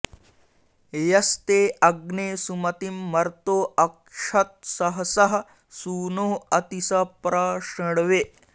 यस्ते अग्ने सुमतिं मर्तो अक्षत्सहसः सूनो अति स प्र शृण्वे